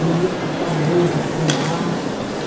bonito, famoso que tem lá.